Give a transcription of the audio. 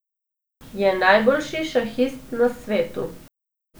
Je najboljši šahist na svetu.